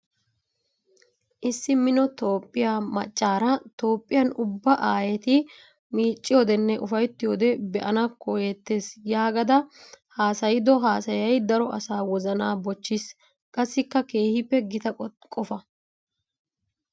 Issi mino Toophphiya macaara Toophphiyan ubba aayetti micciyodenne ufayttiyode be'anna koyettes yaagada haasayiddo haasayay daro asaa wozana bochchiis. Qassikka keehippe gita qofa.